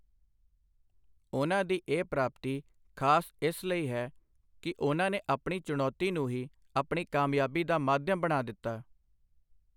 ਉਨ੍ਹਾਂ ਦੀ ਇਹ ਪ੍ਰਾਪਤੀ ਖ਼ਾਸ ਇਸ ਲਈ ਹੈ ਕਿ ਉਨ੍ਹਾਂ ਨੇ ਆਪਣੀ ਚੁਣੌਤੀ ਨੂੰ ਹੀ ਆਪਣੀ ਕਾਮਯਾਬੀ ਦਾ ਮਾਧਿਅਮ ਬਣਾ ਦਿੱਤਾ।